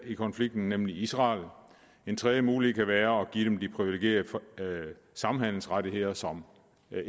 i konflikten nemlig israel den tredje mulighed kan være at give dem de priviligerede samhandelsrettigheder som